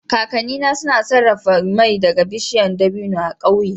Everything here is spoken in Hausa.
Kakannina suna sarrafa mai daga bishiyar dabino a ƙauyen